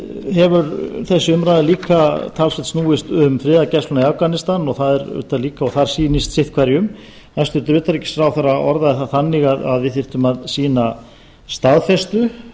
hefur einnig snúist talsvert um friðargæsluna í afganistan og sýnist þar sitt hverjum hæstvirts utanríkisráðherra orðaði það þannig að við þyrftum að sýna staðfestu